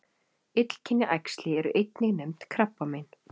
Illkynja æxli eru einnig nefnd krabbamein.